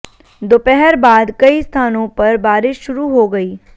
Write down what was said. दोपहर बाद कई स्थानों पर बारिश शुरू हो गई